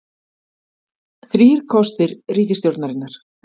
Þrír kostir ríkisstjórnarinnar